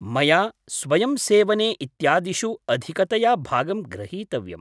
मया स्वयम्सेवने इत्यादिषु अधिकतया भागं ग्रहीतव्यम्।